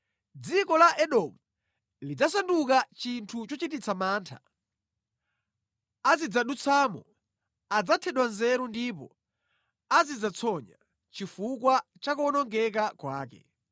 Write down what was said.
“Dziko la Edomu lidzasanduka chinthu chochititsa mantha. Onse odutsamo adzadabwa ndi kupukusa mitu yawo chifukwa cha kuwonongeka kwake.